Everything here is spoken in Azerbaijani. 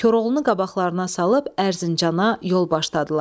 Koroğlunu qabaqlarına salıb Ərzincana yol başladılar.